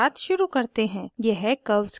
यह curves के बारे में है